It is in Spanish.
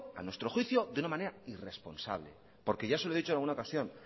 a nuestro juicio de una manera irresponsable porque ya se lo he dicho en alguna ocasión